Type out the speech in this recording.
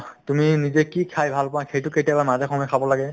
তুমি নিজে কি খাই ভাল পোৱা সেইটো কেতিয়াবা মাজে সময়ে খাব লাগে